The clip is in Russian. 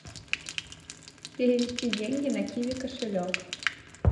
перевести деньги на киви кошелек